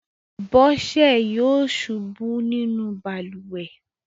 Bọ́sẹ̀ yọ̀ ṣubú nínú balùwẹ̀.